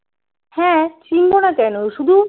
হ্যাঁ চিনব না কেন শুধু